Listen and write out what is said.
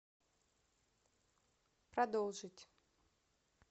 продолжить